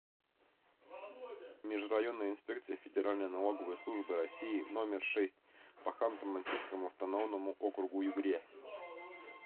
межрайонная инспекция федеральной налоговой службы россии номер шесть по ханты мансийскому автономному округу югре